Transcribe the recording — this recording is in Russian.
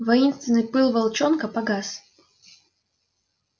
воинственный пыл волчонка погас